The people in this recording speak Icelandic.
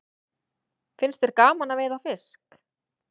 Finnst þér gaman að veiða fisk?